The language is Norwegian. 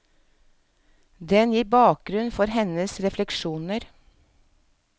Den gir bakgrunn for hennes refleksjoner.